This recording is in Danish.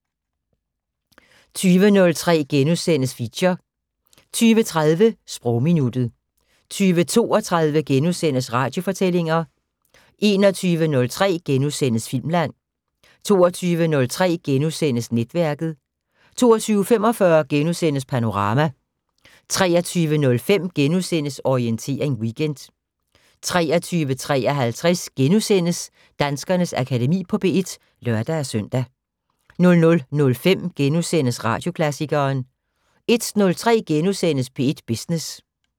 20:03: Feature * 20:30: Sprogminuttet 20:32: Radiofortællinger * 21:03: Filmland * 22:03: Netværket * 22:45: Panorama * 23:05: Orientering Weekend * 23:53: Danskernes Akademi på P1 *(lør-søn) 00:05: Radioklassikeren * 01:03: P1 Business *